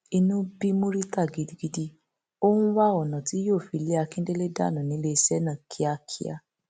inú bí murità gidigidi ó ń wá ọnà tí yóò fi lé akíndélé dànù níléeṣẹ náà kíákíá